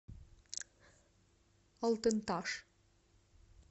алтын таш